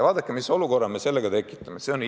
Vaadake, mis olukorra me sellega tekitame!